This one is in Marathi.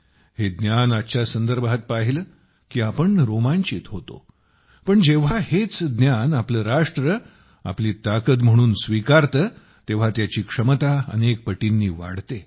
हे ज्ञान आजच्या संदर्भात पाहिले की आपण रोमांचित होतो पण जेव्हा हेच ज्ञान आपले राष्ट्र आपली ताकद म्हणून स्वीकारते तेव्हा त्याची क्षमता अनेक पटींनी वाढते